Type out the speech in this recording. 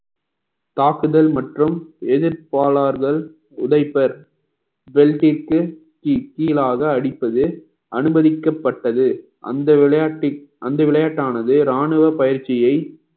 தாக்குதல் மற்றும் எதிர் கோளாறுகள் உடைப்பர் பெல்டிக்கு கீழாக அடிப்பது அனுமதிக்கப்பட்டது அந்த விளையாட்டில் அந்த விளையாட்டானது ராணுவ பயிற்சியை